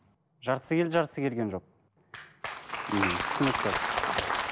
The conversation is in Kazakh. жартысы келді жартысы келген жоқ мхм түсінікті